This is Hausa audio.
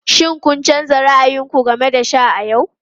Shin kun canza ra'ayin ku game da sha a yau?